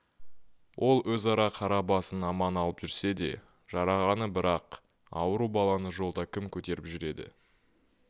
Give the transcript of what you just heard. ол өз қара басын аман алып жүрсе де жарағаны бірақ ауру баланы жолда кім көтеріп жүреді